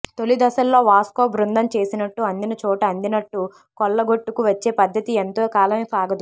తొలి దశల్లో వాస్కో బృందం చేసినట్టు అందిన చోట అందినట్టు కొల్లగొట్టుకు వచ్చే పద్ధతి ఎంతో కాలం సాగదు